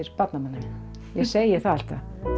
barnanna minna ég segi það alltaf